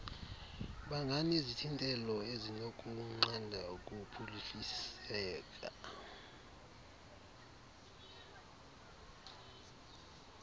banganezithintelo ezinokunqanda ukuphuhliseka